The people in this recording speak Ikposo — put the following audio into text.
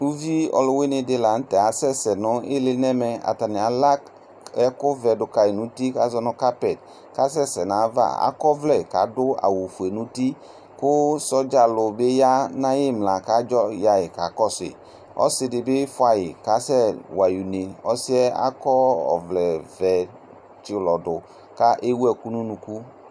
Uvi ɔluwuini di lanu tɛ kasɛsɛ nɛvɛ ala ɛku vɛ duka nu uti kɔkasɛsɛ nava adu awu fue nu uti asɛsɛ ku sɔdza ya kakɔsu ɔsi di fuayi kasɛwayi une la kɔ ɔvlɛ ʋɛ tsi ulɔ du kewu ɛku nu unuku